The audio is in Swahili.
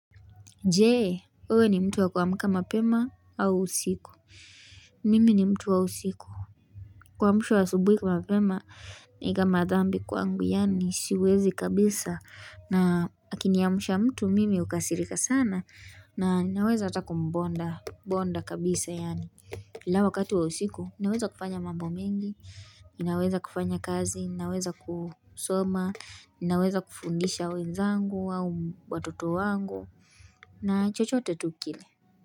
Je, wewe ni mtu wa kuamka mapema au usiku? Mimi ni mtu wa usiku. Kuamshwa asubuhi mapema ni kama dhambi kwangu, yaani siwezi kabisa. Na akiniamsha mtu, mimi hukasirika sana. Na ninaweza hata kumbonda bonda kabisa yaani. Ila wakati wa usiku, ninaweza kufanya mambo mengi. Ninaweza kufanya kazi ninaweza kusoma. Ninaweza kufundisha wenzangu au watoto wangu. Na chochote tu kile.